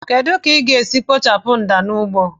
Kedu ka ị ga-esi kpochapụ mda n'ugbo